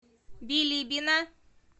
билибино